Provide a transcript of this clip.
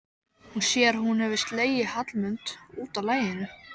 Hún sér að hún hefur slegið Hallmund út af laginu.